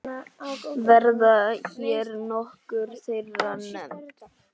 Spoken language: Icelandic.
Verða hér nokkur þeirra nefnd.